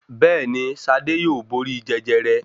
Bẹ́ẹ̀ni, Ṣadé yóò borí Jẹjẹrẹ.